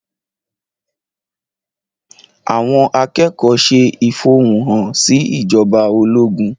Àwọn akẹ́kọ̀ọ́ ṣe ìfẹ̀hónúhàn sí ìjọba ológun.